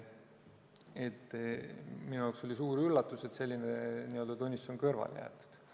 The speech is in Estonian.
Minu jaoks oli suur üllatus, et selline tunnistus on kõrvale jäetud.